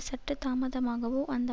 சற்று தாமதமாகவோ அந்த